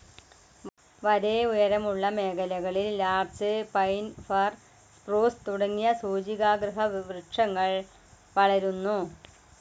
വരെ ഉയരമുള്ള മേഖലകളിൽ ലാർച്ച്‌, പൈൻ, ഫർ, സ്‌പ്രൂസ്‌ തുടങ്ങിയ സൂചികാഗ്രവൃക്ഷങ്ങൾ വളരുന്നു.